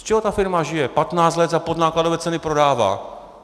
Z čeho ta firma žije - 15 let za podnákladové ceny prodává!